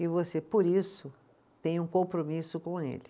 E você, por isso, tem um compromisso com ele.